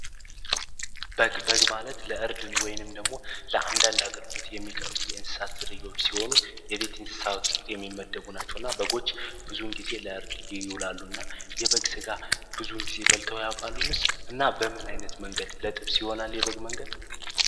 በግ ማለት ለእርድን ወይንም ደግሞ ለአንዳንድ አገልግሎት የሚቀርቡ የእንስሳት ዝርዮች ሲሆኑ የቤት እንስሳወት ውስጥ የሚመደቡ ናቸው እና በጎች ብዙውን ጊዜ ለእርድ ይዩላሉ። እና የበግ ሥጋ ብዙውን ጊዜ በልተያቋሉ ንስ እና በምን ዓይነት መንገድ ለጥብ ሲሆናል የበግ መንገድ?